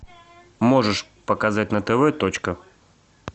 можешь показать на тв точка